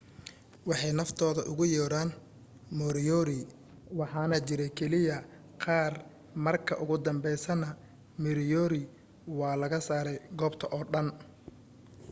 waxay naftooda ugu yeeran moriori waxaana jiray keliya qaar marka ugu dambeysayna moriori waa laga saaray goobta oo dhan